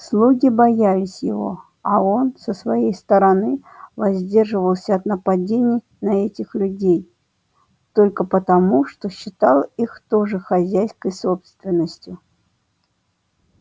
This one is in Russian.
слуги боялись его а он со своей стороны воздерживался от нападений на этих людей только потому что считал их тоже хозяйской собственностью